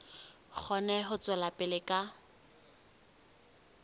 kgone ho tswela pele ka